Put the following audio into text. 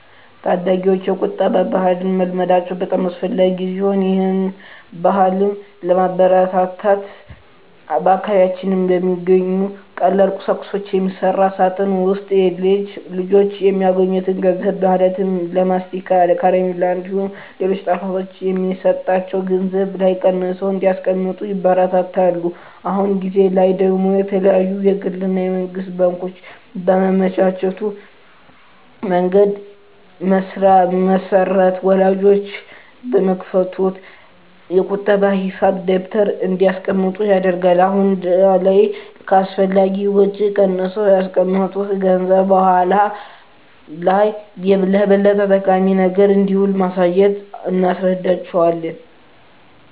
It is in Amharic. ታዳጊወች የቁጠባ ባህልን መልመዳቸው በጣም አስፈላጊ ሲሆን ይህን ባህልም ለማበረታታት በአካባቢያችን በሚገኙ ከተለያዩ ቀላል ቁሳቁሶች በሚሰራ ሳጥን ውስጥ ልጆች የሚያገኙትን ገንዘብ ማለትም ለማስቲካ፣ ከረሜላ እንዲሁም ሌሎች ጣፋጮች የሚሰጣቸው ገንዘብ ላይ ቀንሰው እንዲያስቀምጡ ይበረታታሉ። አሁን ጊዜ ላይ ደግሞ የተለያዩ የግል እና የመንግስት ባንኮች ባመቻቹት መንገድ መሰረት ወላጆች በሚከፍቱት የቁጠባ ሂሳብ ደብተር እንዲያስቀምጡ ይደረጋል። አሁን ላይ ከአላስፈላጊ ወጪ ቀንሰው ያስቀመጡት ገንዘብ በኃላ ላይ ለበለጠ ጠቃሚ ነገር እንደሚውል በማሳየት እናስረዳቸዋለን።